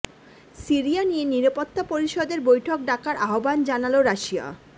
Syria নিয়ে নিরাপত্তা পরিষদের বৈঠক ডাকার আহ্বান জানাল রাশিয়া